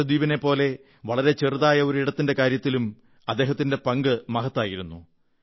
ലക്ഷദ്വീപിനെപ്പോലെ വളരെ ചെറിയ ഒരിടത്തിന്റെ കാര്യത്തിലും അദ്ദേഹത്തിന്റെ പങ്ക് മഹത്തായിരുന്നു